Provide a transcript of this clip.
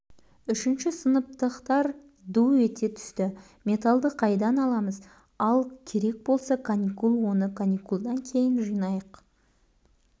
үшінші сыныптықтар ду ете түсті металды қайдан аламыз ал керек болса каникул оны каникулдан кейін жинайық